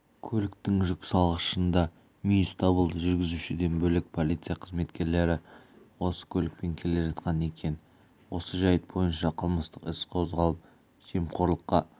көліктің жүк салғышында мүйіз табылды жүргізушіден бөлек полиция қызметкерлері осы көлікпен келе жатқан екен осы жәйт бойынша қылмыстық іс қозғалып жемқорлыққа